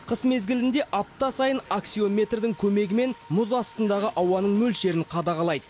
қыс мезгілінде апта сайын аксиометрдің көмегімен мұз астындағы ауаның мөлшерін қадағалайды